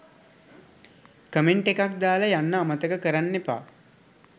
Comment එකක් දාලා යන්න අමතක කරන්නෙපා.